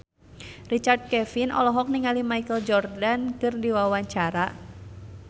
Richard Kevin olohok ningali Michael Jordan keur diwawancara